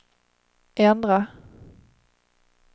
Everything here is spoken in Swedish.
ändra